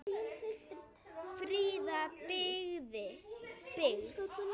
Fríða byggð.